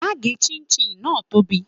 Má gé ṣinṣin náà tóbi.